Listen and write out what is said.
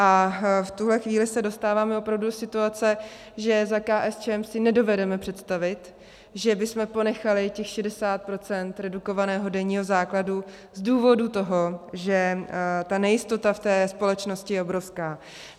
A v tuhle chvíli se dostáváme opravdu do situace, že za KSČM si nedovedeme představit, že bychom ponechali těch 60 % redukovaného denního základu, z důvodu toho, že ta nejistota v té společnosti je obrovská.